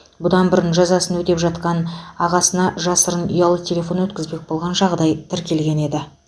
бұдан бұрын жазасын өтеп жатқан ағасына жасырын ұялы телефон өткізбек болған жағдай тіркелген еді